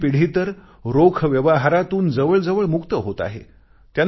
नवीन पिढी तर रोख व्यवहारांतून जवळजवळ मुक्त होत आहे